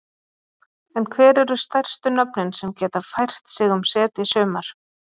En hver eru stærstu nöfnin sem geta fært sig um set í sumar?